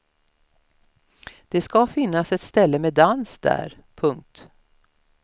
Det ska finnas ett ställe med dans där. punkt